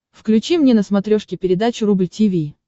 включи мне на смотрешке передачу рубль ти ви